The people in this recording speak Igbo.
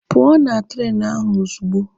Pụọ na treenụ ahụ ozugbo!